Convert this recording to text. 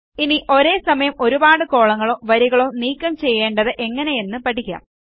ഇനി ഒരേ സമയം ഒരുപാട് കോളങ്ങളോ വരികളോ നീക്കം ചെയ്യേണ്ടത് എങ്ങനെ എന്ന് പഠിക്കാം